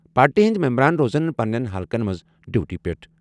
Party ہندِ ممبَران روزن پننٮ۪ن حلقن منٛز ڈیوٹی پٮ۪ٹھ۔